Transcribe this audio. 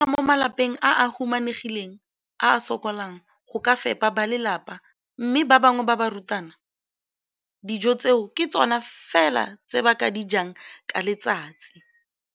Bana ba le bantsi ba tlhaga mo malapeng a a humanegileng a a sokolang go ka fepa ba lelapa mme ba bangwe ba barutwana, dijo tseo ke tsona fela tse ba di jang ka letsatsi.